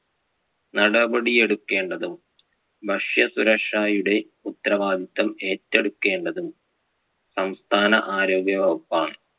നടപടി എടുക്കേണ്ടതും ഭക്ഷ്യസുരക്ഷയുടെ ഉത്തരവാദിത്യം ഏറ്റെടുക്കേണ്ടതും സംസ്ഥാന ആരോഗ്യവകുപ്പാണ്.